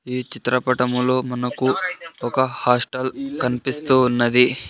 ఈ చిత్రపటములో మనకు ఒక హాస్టల్ కన్పిస్తూ ఉన్నది.